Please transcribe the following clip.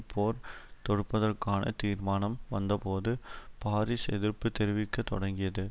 போர் தொடுப்பதற்கான தீர்மானம் வந்தபோது பாரிஸ் எதிர்ப்பு தெரிவிக்க தொடங்கியது